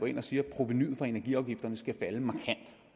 siger at provenuet for energiafgifterne skal falde markant